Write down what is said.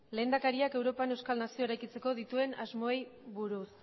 lehendakariak europan euskal nazioa eraikitzeko dituen asmoei buruz